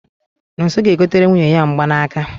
Nonso ga-egotere nwunye ya mgbanaka